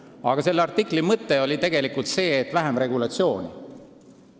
Aga selle artikli mõte oli tegelikult see, et võiks olla vähem regulatsiooni.